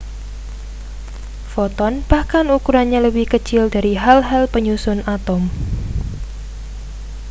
foton bahkan ukurannya lebih kecil dari hal-hal penyusun atom